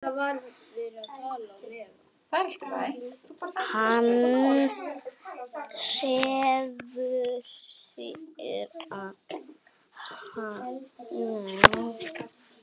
Hann snýr sér að henni.